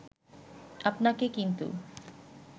আপনাকে কিন্তু